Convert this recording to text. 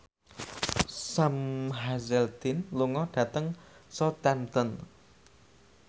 Sam Hazeldine lunga dhateng Southampton